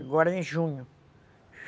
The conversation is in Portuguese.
Agora é em junho.